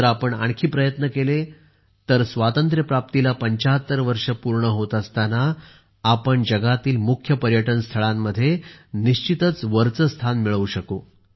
जर आपण आणखी प्रयत्न केले तर स्वातंत्र्यप्राप्तीला 75 वर्षे पूर्ण होत असताना आपण जगातील मुख्य पर्यटन स्थळांमध्ये निश्चितच वरचे स्थान मिळवू शकू